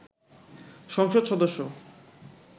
সংসদ সদস্য